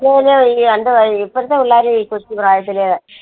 ഇപ്പോഴത്തെ പിള്ളേര് ഈ കൊച്ചുപ്രായത്തില്